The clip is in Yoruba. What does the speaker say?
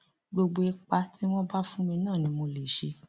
gbogbo ipa tí wọn bá fún mi náà ni mo lè ṣe